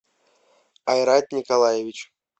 айрат николаевич